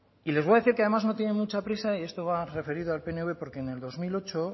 y les voy a decir que además no tienen mucha prisa y esto va referido al pnv porque en el dos mil ocho